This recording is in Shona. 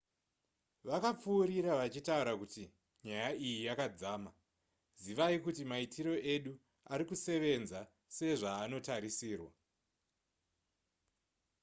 vakapfuurira vachitaura kuti nyaya iyi yakadzama zivai kuti maitiro edu arikusevenza sezvaanotarisirwa